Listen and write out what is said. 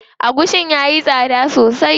Agushin yayi tsada sosai.